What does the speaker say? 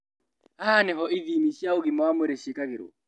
Haha nĩho ithimi cia ũgima wa mwĩrĩ cĩĩkagĩrwo